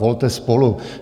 Volte SPOLU."